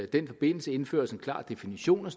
den forbindelse indføres en klar definition